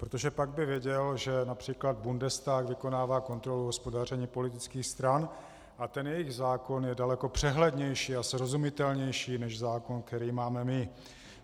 Protože pak by věděl, že například Bundestag vykonává kontrolu hospodaření politických stran a ten jejich zákon je daleko přehlednější a srozumitelnější než zákon, který máme my.